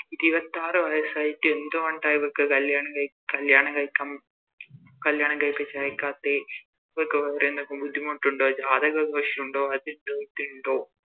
ഇരുപത്താറ് വയസ്സായിട്ടും എന്ത് കൊണ്ട ഇവൾക്ക് കല്യാണം കയ് കല്യാണം കയ്ക്കാൻ കല്യാണം കയിപ്പിച്ച് അയക്കത്തെ ഇവക്ക് വേറെന്തെങ്കിലും ബുദ്ധിമുട്ടുണ്ടോ ജാതക പ്രശ്നോണ്ടോ ണ്ടോ